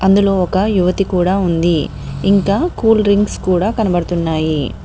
ఇందులో ఒక యువతి కూడా ఉంది ఇంకా కూల్ డ్రింక్స్ కూడా కనబడుతున్నాయి.